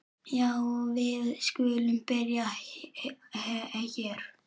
Já, við skulum byrja hér.